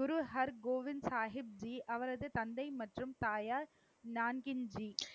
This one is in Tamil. குரு ஹர் கோவிந்த் சாஹிப்ஜி, அவரது தந்தை மற்றும் தாயார் நான்கின்ஜி.